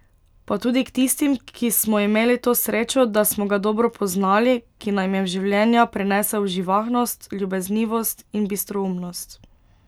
Pa tudi k tistim, ki smo imeli to srečo, da smo ga dobro poznali, ki nam je v življenja prinesel živahnost, ljubeznivost in bistroumnost.